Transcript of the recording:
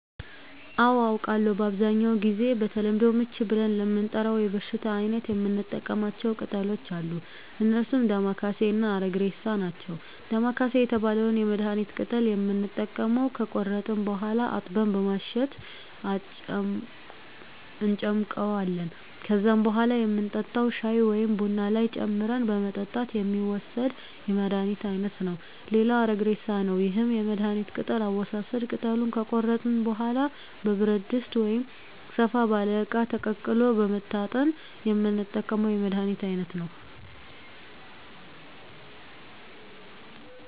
አዎ አውቃለሁ በአብዛኛው ጊዜ በተለምዶ ምች ብለን ለምንጠራው የበሽታ አይነት የምንጠቀማቸው ቅጠሎች አሉ እነርሱም ዳማከሴ እና አረግሬሳ ናቸው ዳማከሴ የተባለውን የመድሀኒት ቅጠል የምንጠቀመው ከቆረጥን በኋላ አጥበን በማሸት እንጨምቀዋለን ከዛም በኋላ የምንጠጣው ሻይ ወይም ቡና ላይ ጨምረን በመጠጣት የሚወሰድ የመድሀኒት አይነት ነው ሌላው አረግሬሳ ነው ይህም የመድሀኒት ቅጠል አወሳሰድ ቅጠሉን ከቆረጥን በኋላ በብረት ድስት ወይም ሰፋ ባለ እቃ ተቀቅሎ በመታጠን የምንጠቀመው የመድሀኒት አይነት ነው